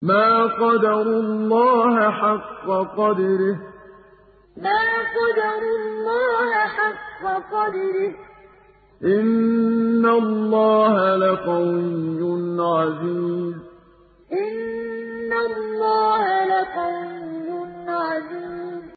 مَا قَدَرُوا اللَّهَ حَقَّ قَدْرِهِ ۗ إِنَّ اللَّهَ لَقَوِيٌّ عَزِيزٌ مَا قَدَرُوا اللَّهَ حَقَّ قَدْرِهِ ۗ إِنَّ اللَّهَ لَقَوِيٌّ عَزِيزٌ